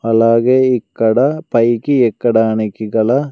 అలాగే ఇక్కడ పైకి ఎక్కడానికి గల--